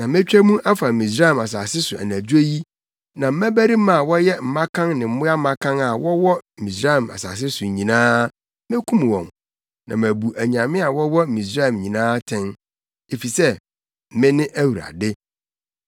“Na metwa mu afa Misraim asase so anadwo yi na mmabarima a wɔyɛ mmakan ne mmoa mmakan a wɔwɔ Misraim asase so nyinaa, mekum wɔn, na mabu anyame a wɔwɔ Misraim nyinaa atɛn, efisɛ mene Awurade!